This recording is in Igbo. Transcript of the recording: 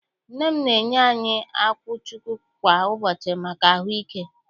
Nne m na-enye anyị akwụchukwu kwa ụbọchị maka ahụike.